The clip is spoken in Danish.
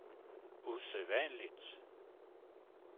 usædvanligt